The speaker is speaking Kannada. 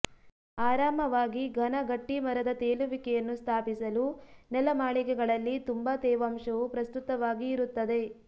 ಆರಾಮವಾಗಿ ಘನ ಗಟ್ಟಿಮರದ ತೇಲುವಿಕೆಯನ್ನು ಸ್ಥಾಪಿಸಲು ನೆಲಮಾಳಿಗೆಗಳಲ್ಲಿ ತುಂಬಾ ತೇವಾಂಶವು ಪ್ರಸ್ತುತವಾಗಿ ಇರುತ್ತದೆ